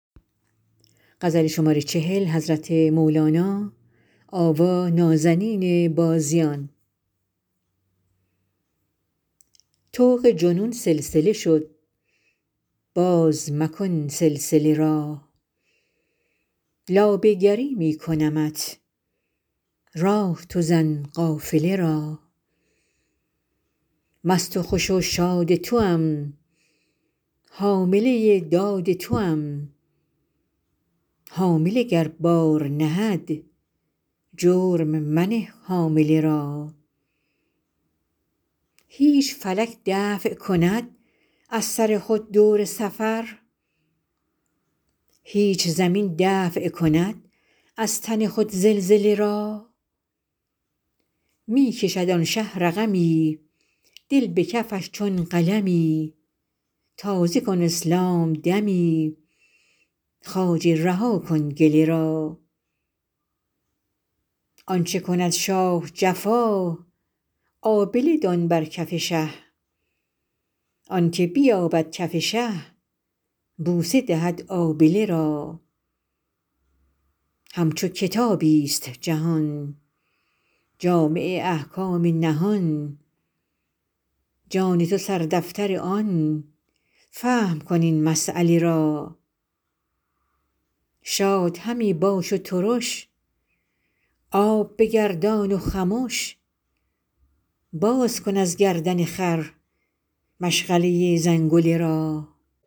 طوق جنون سلسله شد باز مکن سلسله را لابه گری می کنمت راه تو زن قافله را مست و خوش و شاد توام حامله داد توام حامله گر بار نهد جرم منه حامله را هیچ فلک دفع کند از سر خود دور سفر هیچ زمین دفع کند از تن خود زلزله را می کشد آن شه رقمی دل به کفش چون قلمی تازه کن اسلام دمی خواجه رها کن گله را آنچ کند شاه جفا آبله دان بر کف شه آنک بیابد کف شه بوسه دهد آبله را همچو کتابی ست جهان جامع احکام نهان جان تو سردفتر آن فهم کن این مسیله را شاد همی باش و ترش آب بگردان و خمش باز کن از گردن خر مشغله زنگله را